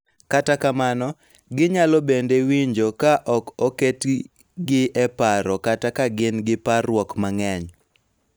Kata kamano, ginyalo bende winjo ka ok oketigi e paro kata ka gin gi parruok mang�eny .